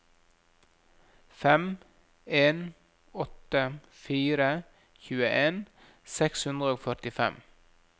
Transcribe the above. fem en åtte fire tjueen seks hundre og førtifem